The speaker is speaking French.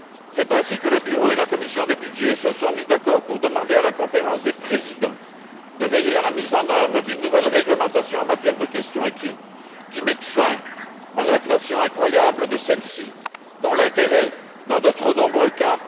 C'est ainsi que le Bureau et la commission des budgets se sont mis d'accord pour demander à la Conférence des présidents de veiller à la mise en œuvre d'une nouvelle réglementation en matière de questions écrites qui mette fin à leur inflation incroyable, dont l'intérêt est faible sinon nul, dans de trop nombreux cas.